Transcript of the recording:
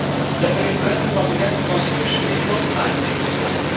That the referendum was against the Constitution is not my main point.